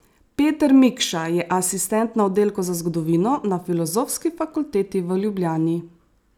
Peter Mikša je asistent na oddelku za zgodovino na Filozofski fakulteti v Ljubljani.